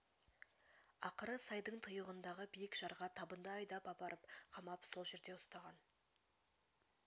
ақыры сайдың тұйығындағы биік жарға табынды айдап апарып қамап сол жерде ұстаған